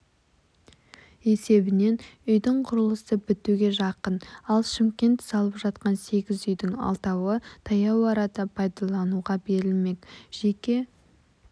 есебінен үйдің құрылысы бітуге жақын ал шымкент салып жатқансегізүйдің алтауы таяу арада пайдалануға берілмек жеке